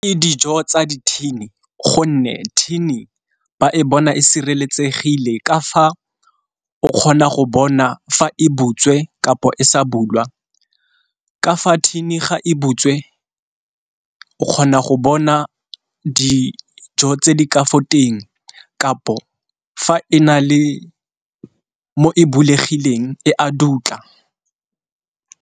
Ke dijo tsa di-tin-i gonne tin-i ba e bona e sireletsegile ka fa o kgona go bona fa e butswe kapo e sa bulwa, ka fa tin-i ga e butswe ke kgona go bona dijo tse di ka foteng kapo fa e na le mo e bulegileng e a dutla.